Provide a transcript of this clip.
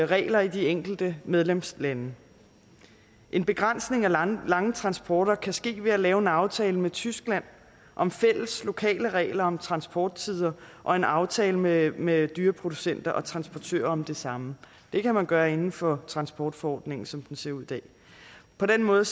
regler i de enkelte medlemslande en begrænsning af lange lange transporter kan ske ved at lave en aftale med tyskland om fælles lokale regler om transporttider og en aftale med med dyreproducenter og transportører om det samme det kan man gøre inden for transportforordningen som den ser ud i dag på den måde